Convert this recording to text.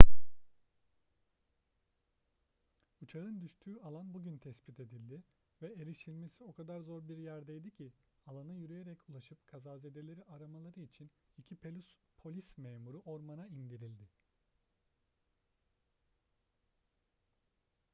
uçağın düştüğü alan bugün tespit edildi ve erişilmesi o kadar zor bir yerdeydi ki alana yürüyerek ulaşıp kazazedeleri aramaları için iki polis memuru ormana indirildi